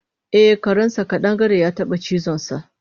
Eh karensa ƙadangare yataba cizonsa